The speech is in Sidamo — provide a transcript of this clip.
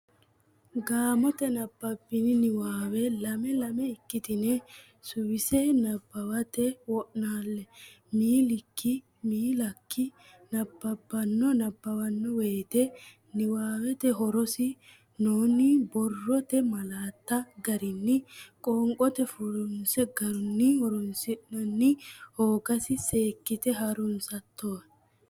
Gaamotenni nabbabbini niwaawe lame lame ikkitine suwise nabbawate wo naalle miilikki miilakki nabbawanno nabbabbanno woyte niwaawete horonsi noonni borrote malaatta garinni qoonqote furrinse garunni horonsi rasinna hoogasi seekkite ha runsate wo.